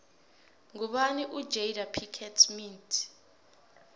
ngubani ujada pickett smith